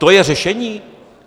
To je řešení?